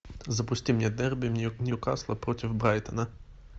запусти мне дерби ньюкасла против брайтона